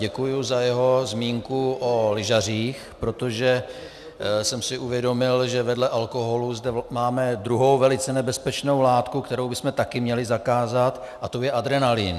Děkuji za jeho zmínku o lyžařích, protože jsem si uvědomil, že vedle alkoholu zde máme druhou velice nebezpečnou látku, kterou bychom měli také zakázat, a to je adrenalin.